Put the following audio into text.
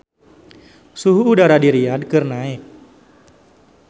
Suhu udara di Riyadh keur naek